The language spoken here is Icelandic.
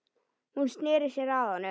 Hún sneri sér að honum.